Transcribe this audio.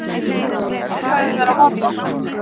Á hvað eru þeir að horfa?